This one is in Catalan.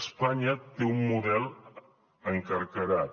espanya té un model encarcarat